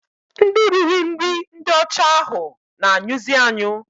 Ndị riri nri ndị ọcha ahụ na-anyụzi anyụ